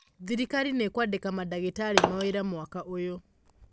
thirikari nĩkũandĩka madagĩtarĩ mawĩra mwaka ũyũ